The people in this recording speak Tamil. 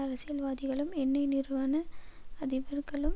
அரசியல்வாதிகளும் எண்ணெய் நிறுவன அதிபர்களும்